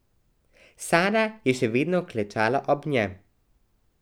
Sara je še vedno klečala ob njem.